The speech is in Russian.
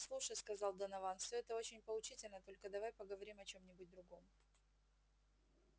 слушай сказал донован всё это очень поучительно только давай поговорим о чём-нибудь другом